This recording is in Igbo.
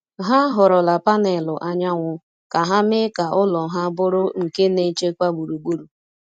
Ha họrọla panelụ anyanwụ ka ha mee ka ụlọ ha bụrụ nke na-echekwa gburugburu.